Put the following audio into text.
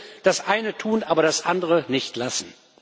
Also bitte Das eine tun, aber das andere nicht lassen.